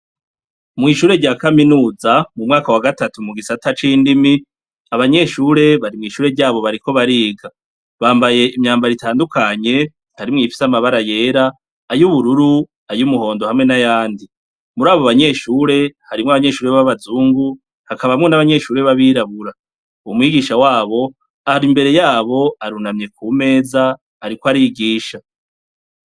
Mw'ishure rya kaminuza mu mwaka wa gatatu mu gisata c'indimi, abanyeshure bari mw'ishure ryabo bariko bariga. Bambaye imyambaro itandukanye harimo iyifise amabara yera, ay'ubururu, ay'umuhondo hamwe n'ayandi. Muri abo banyeshure, harimwo abanyeshure b'abazungu hakabamo n'abanyeshure b'abirabura. Umwigisha wabo ari imbere yabo arunamye ku meza ariko arigisha.